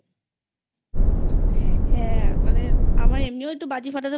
হ্যাঁ মানে আমার একটু বাজি ফাটাতে